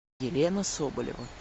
елена соболева